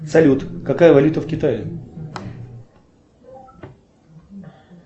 салют какая валюта в китае